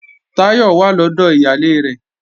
Táyọ̀ wà lọ́dọ̀ ìyálé rẹ̀